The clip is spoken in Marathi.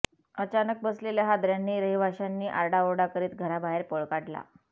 अचानक बसलेल्या हादऱ्यांनी रहिवाशांनी आरडाओरडा करीत घराबाहेर पळ काढला